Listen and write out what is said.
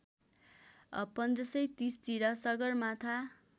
१५३० तिर सगरमाथा